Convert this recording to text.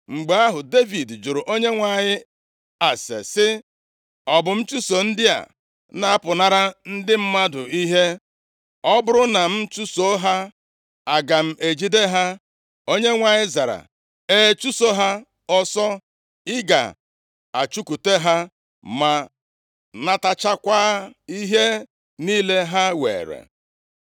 Mgbe ahụ, Devid jụrụ Onyenwe anyị ase sị, “Ọ bụ m chụso ndị a na-apụnara ndị mmadụ ihe? Ọ bụrụ na m achụso ha, aga m ejide ha?” Onyenwe anyị zara, “E, chụso ha ọsọ, ị ga-achụkwute ha, ma nataghachikwa ihe niile ha were.”